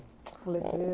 O letreiro.